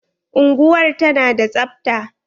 Unguwar ta na da tsabta?